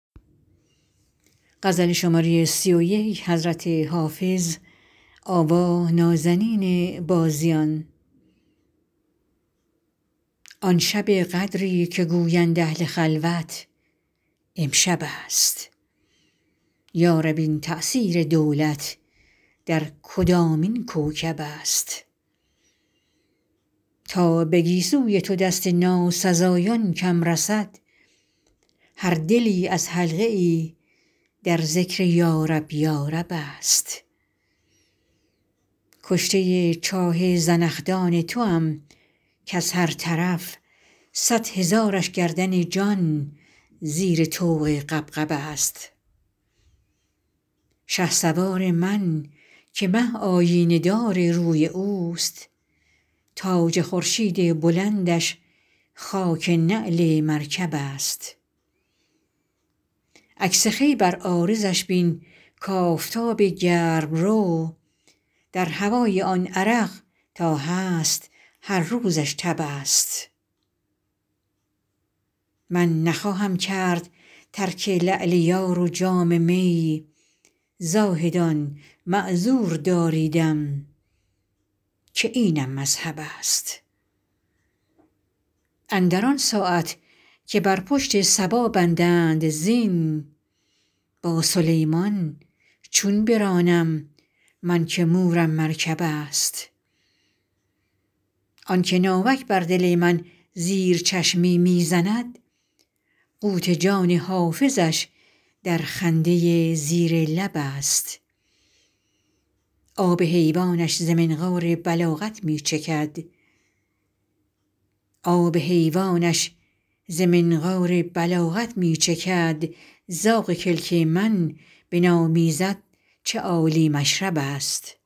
آن شب قدری که گویند اهل خلوت امشب است یا رب این تأثیر دولت در کدامین کوکب است تا به گیسوی تو دست ناسزایان کم رسد هر دلی از حلقه ای در ذکر یارب یارب است کشته چاه زنخدان توام کز هر طرف صد هزارش گردن جان زیر طوق غبغب است شهسوار من که مه آیینه دار روی اوست تاج خورشید بلندش خاک نعل مرکب است عکس خوی بر عارضش بین کآفتاب گرم رو در هوای آن عرق تا هست هر روزش تب است من نخواهم کرد ترک لعل یار و جام می زاهدان معذور داریدم که اینم مذهب است اندر آن ساعت که بر پشت صبا بندند زین با سلیمان چون برانم من که مورم مرکب است آن که ناوک بر دل من زیر چشمی می زند قوت جان حافظش در خنده زیر لب است آب حیوانش ز منقار بلاغت می چکد زاغ کلک من بنامیزد چه عالی مشرب است